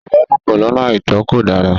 Ìbálòpọ̀ lọ́nà àìtó kò dára.